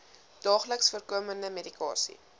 daagliks voorkomende medikasie